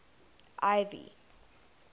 ivy